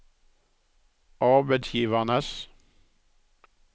arbeidsgivernes